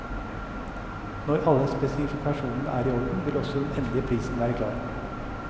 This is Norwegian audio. Når alle spesifikasjonene er i orden, vil også den endelige prisen være klar.